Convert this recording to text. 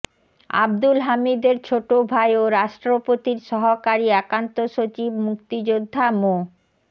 আবদুল হামিদের ছোট ভাই ও রাষ্ট্রপতির সহকারী একান্ত সচিব মুক্তিযোদ্ধা মো